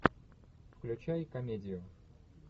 включай комедию